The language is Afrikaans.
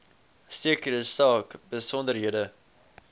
sekere saak besonderhede